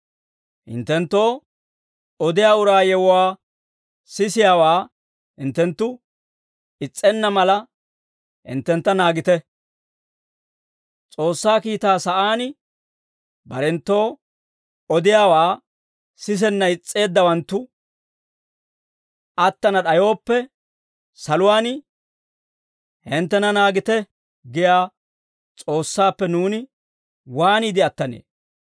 Hinttenttoo odiyaa uraa yewuwaa sisiyaawaa hinttenttu is's'enna mala, hinttentta naagite. S'oossaa kiitaa sa'aan barenttoo odiyaawe odiyaawaa sisenna is's'eeddawanttu attana d'ayooppe, saluwaan, «Hinttena naagite» giyaa S'oossaappe nuuni waaniide attanee?